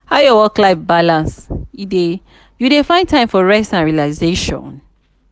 how your work-life balance dey you dey find time for rest and relaxation?